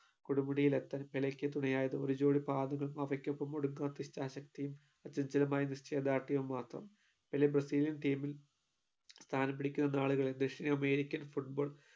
കൊടുമുടിയിലെത്താൻ പെലെയ്ക്ക് തുണയായത് ഒരു jodi പാദുകം അവയ്‌ക്കോപ്പോം ഒടുങ്ങാത്ത ഇച്ഛാശക്തിയും അത്യുജ്വലമായ നിശ്ചയദാർഢ്യവും മാത്രം പെലെ brazilian team ൽ സ്ഥാനം പിടിക്കുന്ന നാളുകളിൽ ദക്ഷിണ american football